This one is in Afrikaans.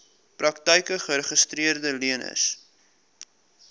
praktyke geregistreede leners